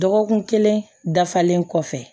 Dɔgɔkun kelen dafalen kɔfɛ